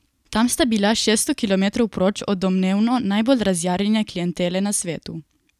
Tam sta bila šeststo kilometrov proč od domnevno najbolj razjarjene klientele na svetu.